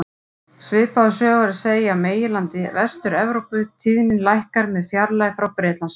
Svipaða sögu er að segja af meginlandi Vestur-Evrópu, tíðnin lækkar með fjarlægð frá Bretlandseyjum.